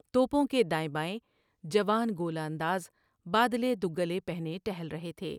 توپوں کے دائیں بائیں جوان گولہ انداز بادلے گلے پہنے ٹہل رہے تھے ۔